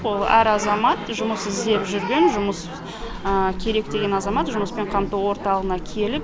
әр азамат жұмыс іздеп жүрген жұмыс керек деген азамат жұмыспен қамту орталығына келіп